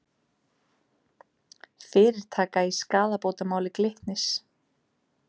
Fyrirtaka í skaðabótamáli Glitnis